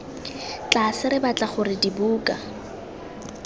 tlase re batla gore dibuka